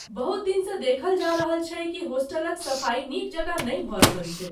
बहुत दिनसँ देखल जा रहल छै कि होस्टलक सफाई नीक जकाँ नहि भऽ रहल छै।